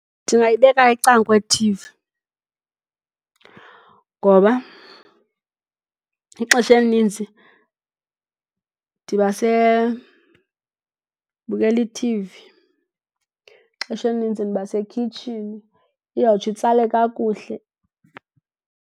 Ndingayibeka ecaleni kwethivi ngoba ixesha elininzi ndibukela ithivi. Ixesha elininzi ndiba sekhitshini, iyawutsho itsale kakuhle.